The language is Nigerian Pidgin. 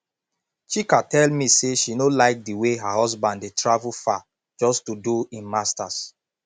chika tell me say she no like the way her husband dey travel far just to do im masters